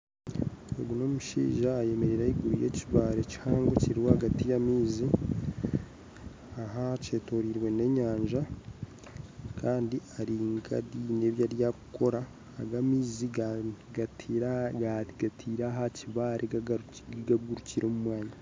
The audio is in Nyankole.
Ogu n'omushaija ayemereire ayegwire ekibaare kihango kiri ahagati y'amaizi kandi kyetoreirwe n'enyanja kandi gari nka gariyo garinka aha kukora aga maizi gataire aha kibaare ngakugurukira omu mwanya